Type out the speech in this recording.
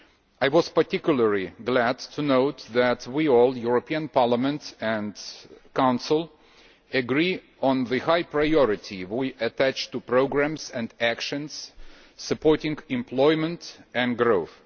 I was particularly glad to note that we all the European Parliament and the Council agree on the high priority we attach to programmes and actions supporting employment and growth.